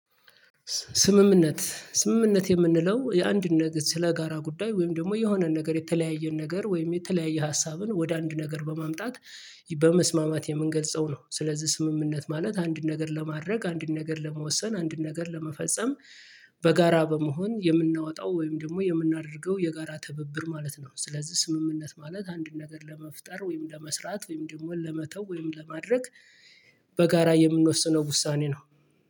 ስምምነት ስምምነት የምንለው የአንድ ነገር ስለጋራ ጉዳይ ወይም ደግሞ የሆነን ነገር የተለያየን ነገር ወይም የተለያየ ሀሳብን ወደ አንድ ነገር በማምጣት በመስማማት የምንገልጸው ነው ስለዚህ ስምምነት ማለት አንድ ነገር ለማድረግ አንድን ነገር ለመወሰን አንድን ነገር ለመፈጸም። በጋራ በመሆን የምናወጣው ወይም ደግሞ የምናደርገው የጋራ ትብብር ማለት ነው። ስለዚህ ስምምነት ማለት አንድን ነገር ለመፍጠር ወይም ለመስራት ወይም ደግሞ ለመተው ወይም ለማድረግ። በጋራ የምንወስነው ውሳኔ ነው።